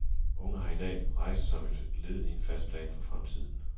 Unge i dag har rejser som et led i en fast plan for fremtiden.